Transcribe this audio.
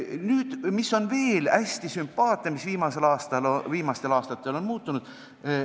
Veel on üks hästi sümpaatne asi, mis viimastel aastatel on muutunud.